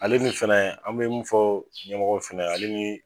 Ale ni fɛnɛ an be mun fɔ ɲɛmɔgɔ fɛnɛ ye ale ni